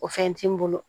O fɛn ti n bolo